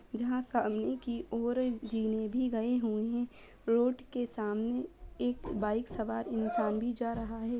जहां सामने की ओर जीने भी गए हुए हैं रोड के सामने एक बाइक सवार इंसान भी जा रहा है।